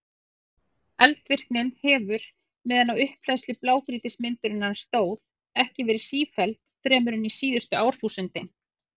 Eldvirknin hefur, meðan á upphleðslu blágrýtismyndunarinnar stóð, ekki verið sífelld fremur en síðustu árþúsundin.